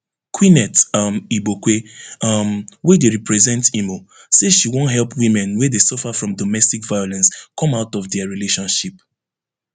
queeneth um igbokwe um wey dey represent imo say she wan help women wey dey suffer from domestic violence come out of dia relationship